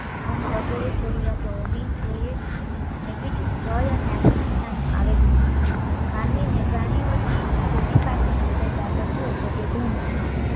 ઊંઘ વગેરે જરૂરિયાતો હોવી જોઈએ અને બીજું ભય અને આક્રમકતા નો આવેખ માનવી ને પ્રાણીઓથી જુદી પાડનારી કોઈ બાબત હોઈ તો તે ધર્મ છે